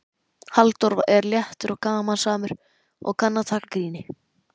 Halldór er léttur og gamansamur og kann að taka gríni.